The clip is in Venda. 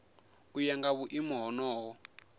u ya nga vhuimo honoho